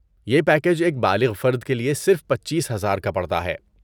یہ پیکیج ایک بالغ فرد کے لیے صرف پچیس ہزار کا پڑتا ہے